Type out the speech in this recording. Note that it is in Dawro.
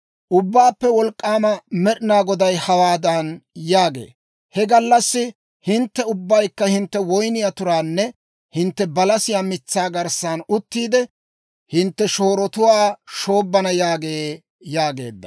«Ubbaappe Wolk'k'aama Med'inaa Goday hawaadan yaagee; ‹He gallassi hintte ubbaykka hintte woyniyaa turaanne hintte balasiyaa mitsaa garssan uttiide, hintte shoorotuwaa shoobbana› yaagee» yaageedda.